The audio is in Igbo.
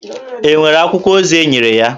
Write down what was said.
È nwere akwụkwọ ozi enyere ya?